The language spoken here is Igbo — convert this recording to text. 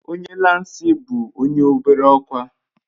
Onye lansị bu onye obere okwa